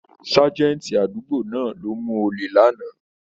Ságẹ́ńtì àdúgbò náà ló mú ole lánàá.